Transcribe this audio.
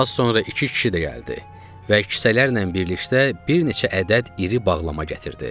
Az sonra iki kişi də gəldi və kisələrlə birlikdə bir neçə ədəd iri bağlama gətirdi.